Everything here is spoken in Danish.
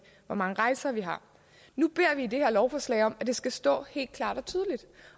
hvor mange rejser vi har nu beder vi i det her lovforslag om at det skal stå helt klart